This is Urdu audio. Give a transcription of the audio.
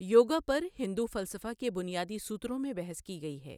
یوگا پر ہندو فلسفہ کے بنیادی سترا میں بحث کی گئی ہے۔